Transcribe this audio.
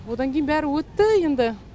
одан кейін бәрі өтті енді